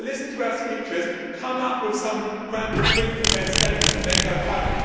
She will listen to our speeches, come up with some rambling, pre prepared statement and then go home.